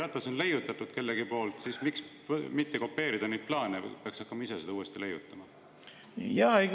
Kui jalgratas on kellegi poolt leiutatud, siis miks mitte seda kopeerida, miks peaks hakkama ise seda uuesti leiutama?